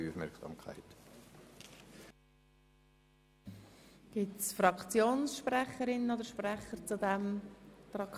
Wird das Wort von Fraktionssprecherinnen oder Fraktionssprechern gewünscht?